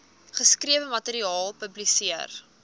geskrewe materiaal publiseer